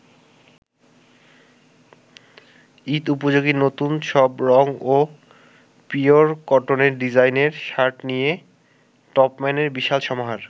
ঈদ-উপযোগী নতুন সব রং ও পিওর কটনের ডিজাইনের শার্ট নিয়ে টপম্যানের বিশাল সমাহার।